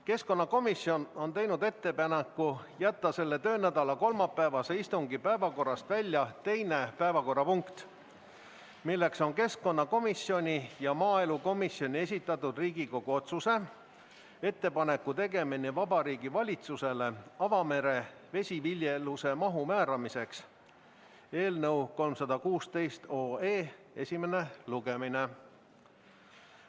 Keskkonnakomisjon on teinud ettepaneku jätta selle töönädala kolmapäevase istungi päevakorrast välja teine punkt, milleks on keskkonnakomisjoni ja maaelukomisjoni esitatud Riigikogu otsuse "Ettepaneku tegemine Vabariigi Valitsusele avamere vesiviljeluse mahu määramiseks" eelnõu 316 esimene lugemine.